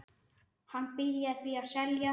Hann byrjaði því að selja.